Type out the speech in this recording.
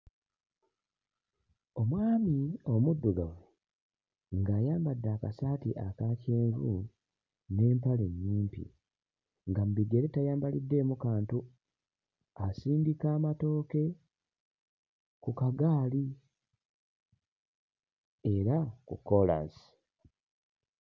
Omwami omuddugavu ng'ayambadde akasaati aka kyenvu n'empale ennyimpi nga mu bigere tayambaliddemu kantu, asindika amatooke ku kagaali era ku kkoolaasi.